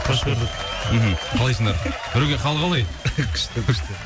қош көрдік мхм қалайсыңдар нұреке қал қалай күшті күшті